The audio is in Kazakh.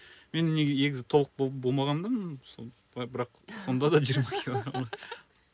мен негізі толық болмағанмын сол былай бірақ сонда да жиырма килограмға